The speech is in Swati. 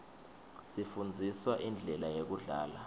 sifndziswa indlela yekudlala